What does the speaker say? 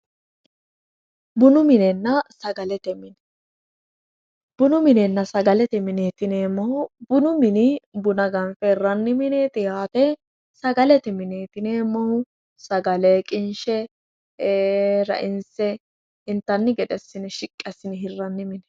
Bunu minenna sagalete mine, bunu minenna sagalete mineti yineemmohu bunu mini buna ganfe hirrannite yaate, sagalete mineti yineemmohu sagale qinshe rainse intanni gede shiqqi assine hirranni mine.